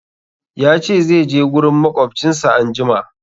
Ya ce zai je gurin maƙwabcinsa anjima.